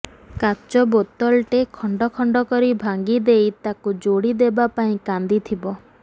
କାଚ ବୋତଲଟେ ଖଣ୍ଡଖଣ୍ଡ କରି ଭାଙ୍ଗି ଦେଇ ତାକୁ ଯୋଡ଼ି ଦେବା ପାଇଁ କାନ୍ଦିଥିବ